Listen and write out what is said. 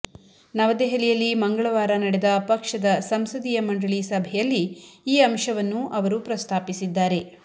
ನವದೆಹಲಿಯಲ್ಲಿ ಮಂಗಳವಾರ ನಡೆದ ಪಕ್ಷದ ಸಂಸದೀಯ ಮಂಡಳಿ ಸಭೆಯಲ್ಲಿ ಈ ಅಂಶವನ್ನು ಅವರು ಪ್ರಸ್ತಾಪಿಸಿದ್ದಾರೆ